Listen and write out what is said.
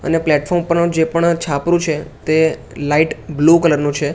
અને પ્લેટફોર્મ પરનો જે પણ છાપરું છે તે લાઈટ બ્લુ કલર નું છે.